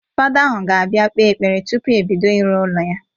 Fada ahụ ga-abịa kpee ekpere tụpụ ebido ịrụ ụlọ ya